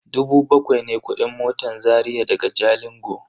Dubu bakwai ne kudin motan Zaria daga Jalingo.